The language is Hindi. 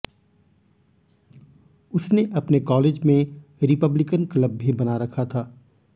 उसने अपने कॉलेज में रिपब्लिकन क्लब भी बना रखा था